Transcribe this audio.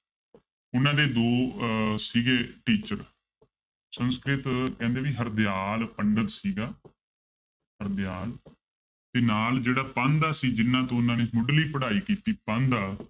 ਉਹਨਾਂ ਦੇ ਦੋ ਅਹ ਸੀਗੇ teacher ਸੰਸਕ੍ਰਿਤ ਕਹਿੰਦੇ ਵੀ ਹਰਦਿਆਲ ਪੰਡਤ ਸੀਗਾ ਹਰਦਿਆਲ ਤੇ ਨਾਲ ਜਿਹੜਾ ਪਾਂਧਾ ਸੀ ਜਿਹਨਾਂ ਤੋਂ ਉਹਨਾਂ ਨੇ ਮੁਢਲੀ ਪੜ੍ਹਾਈ ਕੀਤੀ ਪਾਂਧਾ